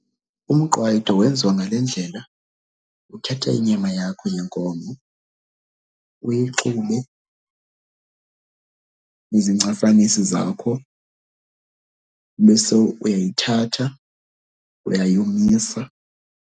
Umqwayito wenziwa ngale ndlela, uthatha inyama yakho yenkomo uyixhube nezincasanisi zakho. Ube sowuyayithatha uyayomisa.